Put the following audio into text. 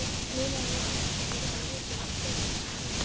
Nýlega hefur Orkuveita Reykjavíkur tekið við þessum rekstri.